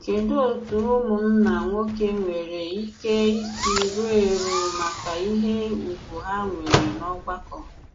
Kèdù òtù ùmụ̀nnà nwoke nwere ìkè ìsì rùò èrù maka ìhé ùgwù ha nwere n'ọ̀gbàkọ?